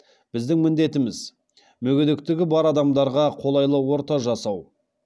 біздің міндетіміз мүгедектігі бар адамдарға қолайлы орта жасау